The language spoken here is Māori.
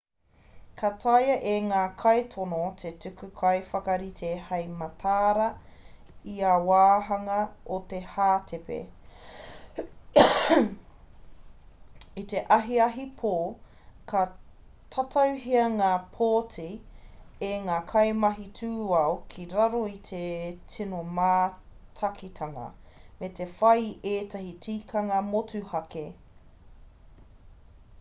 ka taea e ngā kaitono te tuku kaiwhakarite hei mataara i ia wāhanga o te hātepe i te ahiahi pō ka tatauhia ngā pōti e ngā kaimahi tūao ki raro i te tino mātakitanga me te whai i ētahi tikanga motuhake